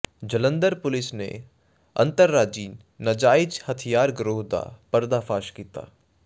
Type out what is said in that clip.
ਜਲੰਧਰ ਪੁਲੀਸ ਨੇ ਅੰਤਰਰਾਜੀ ਨਾਜਾਇਜ਼ ਹਥਿਆਰ ਗਰੋਹ ਦਾ ਪਰਦਾਫਾਸ਼ ਕੀਤਾ